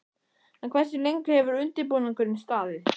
En hversu lengi hefur undirbúningurinn staðið?